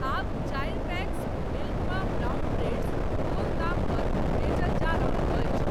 आब चारि packs milk मा ब्राउन ब्रेड्स कोन दाम पर बेचल जा रहल अछि?